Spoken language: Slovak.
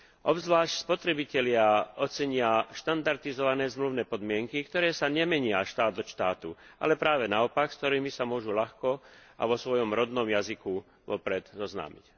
Obzvlášť spotrebitelia ocenia štandardizované zmluvné podmienky, ktoré sa nemenia štát od štátu, ale práve naopak, s ktorými sa môžu ľahko a vo svojom rodnom jazyku vopred zoznámiť.